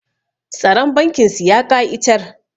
Tsaron bankin su ya ƙa'itar